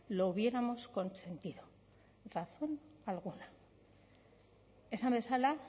lo hubiéramos consentido razón alguna esan bezala